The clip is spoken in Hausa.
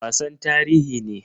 Wasan tarihi ne.